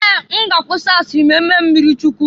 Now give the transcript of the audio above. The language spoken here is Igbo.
Ee! M ga-akwụsi asịrị ma-emee m mmirichukwu.